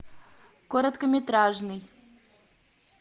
короткометражный